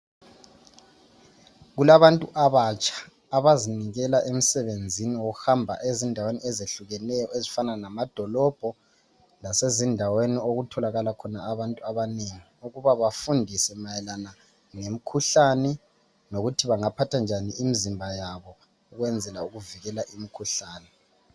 Kulabantu abatsha abazinikela emsebenzini ngokuhamba ezindaweni ezehlukeneyo ezifana lamadolobho lasezindaweni okutholakala khona abantu abanengi ukuba bafundise mayelana lomkhuhlane lokuthi bangaphatha njani imizimba yabo ukwenzela ukuvikela umkhuhlane